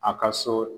A ka so